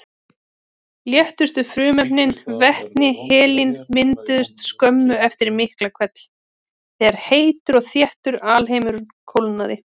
Léttustu frumefnin, vetni og helín, mynduðust skömmu eftir Miklahvell þegar heitur og þéttur alheimur kólnaði.